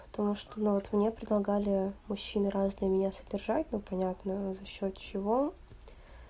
потому что ну вот мне предлагали мужчины разные меня содержать но понятно за счёт чего